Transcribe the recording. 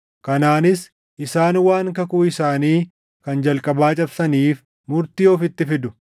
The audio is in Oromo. Kanaanis isaan waan kakuu isaanii kan jalqabaa cabsaniif murtii ofitti fidu.